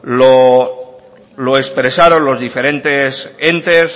lo expresaron los diferentes entes